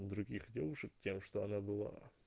других девушек тем что она была